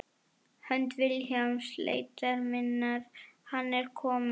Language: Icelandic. Hönd Vilhjálms leitar minnar Hann er kominn.